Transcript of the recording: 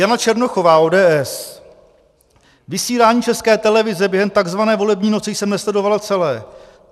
Jana Černochová, ODS: Vysílání České televize během tzv. volební noci jsem nesledovala celé.